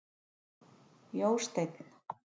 Jósteinn